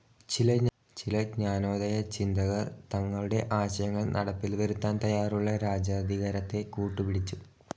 ചില ജ്ഞാനോദയ ചിന്തകർ തങ്ങളുടെ ആശയങ്ങൾ നടപ്പിൽ വരുത്താൻ തയാറുള്ള രാജാധികാരത്തെ കൂട്ടുപിടിച്ചു.